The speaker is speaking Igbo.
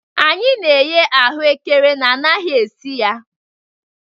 Anyị na-eghe ahụekere na anaghị esi ya